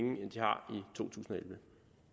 totusinde